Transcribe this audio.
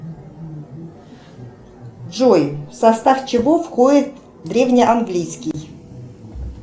джой в состав чего входит древний английский